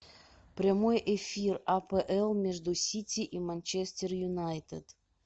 прямой эфир апл между сити и манчестер юнайтед